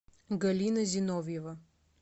галина зиновьева